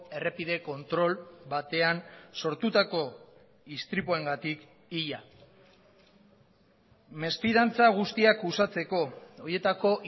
errepide kontrol batean sortutako istripuengatik hila mesfidantza guztiak uxatzeko horietako